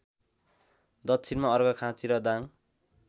दक्षिणमा अर्घाखाँची र दाङ